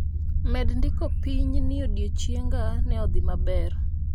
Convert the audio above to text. Med ndiko piny ni odiechienga ne odhi maber